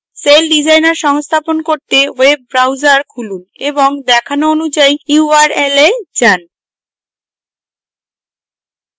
celldesigner সংস্থাপন করতে web browser খুলুন এবং দেখানো অনুযায়ী url এ যান